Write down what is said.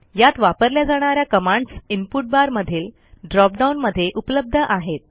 यात वापरल्या जाणा या कमांडस इनपुट barमधील ड्रॉपडाऊन मध्ये उपलब्ध आहेत